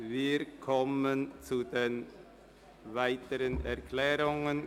Wir kommen zu den weiteren Erklärungen.